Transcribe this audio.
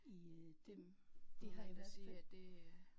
I øh det det har i hvert fald